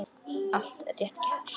Allt rétt gert.